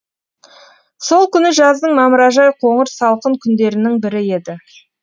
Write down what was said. сол күні жаздың мамыражай қоңыр салқын күндерінің бірі еді